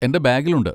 എൻ്റെ ബാഗിലുണ്ട്.